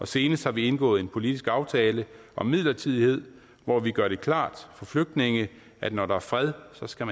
senest har vi indgået en politisk aftale om midlertidighed hvor vi gør det klart for flygtninge at når der er fred skal